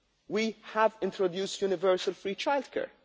wage we have introduced universal free childcare